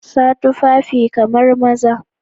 Sa tufafi kamar maza.